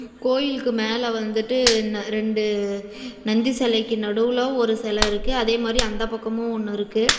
கோயிலுக்கு மேல வந்துட்டு ந் ரெண்டு நந்தி செலைக்கு நடுவுல ஒரு செல இருக்கு அதே மாரி அந்த பக்கமு ஒன்னு இருக்கு.